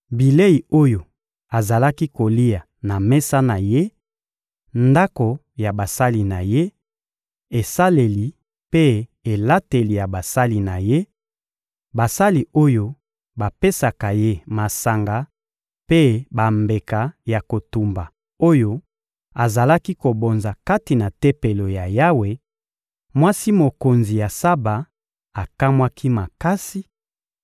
bilei oyo azalaki kolia na mesa na ye, ndako ya basali na ye, esaleli mpe elateli ya basali na ye, basali oyo bapesaka ye masanga mpe bambeka ya kotumba oyo azalaki kobonza kati na Tempelo ya Yawe, mwasi mokonzi ya Saba akamwaki makasi